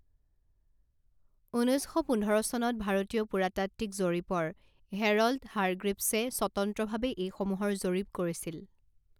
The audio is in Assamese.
ঊনৈছ শ পোন্ধৰ চনত ভাৰতীয় পুৰাতাত্ত্বিক জৰীপৰ হেৰল্ড হাৰগ্ৰিভছে স্বতন্ত্ৰভাৱে এইসমূহৰ জৰীপ কৰিছিল।